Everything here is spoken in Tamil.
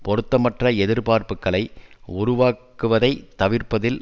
பொருத்தமற்ற எதிர்பார்ப்புக்களை உருவாக்குவதை தவிர்ப்பதில்